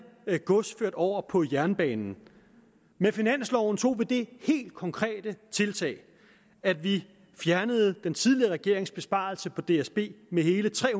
gods ført over på jernbanen med finansloven tog vi det helt konkrete tiltag at vi fjernede den tidligere regerings besparelse på dsb med hele tre